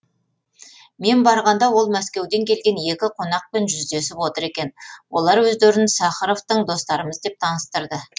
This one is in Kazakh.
мен барғанда ол мәскеуден келген екі қонақпен жүздесіп отыр екен олар өздерін сахаровтың достарымыз деп таныстырды